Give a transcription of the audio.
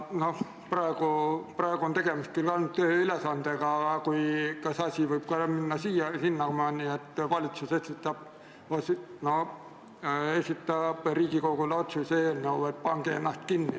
Praegu on tegemist küll ainult ühe ülesandega, aga see asi võib minna ka sinnamaani, et valitsus esitab Riigikogule näiteks otsuse eelnõu, et pange ennast kinni.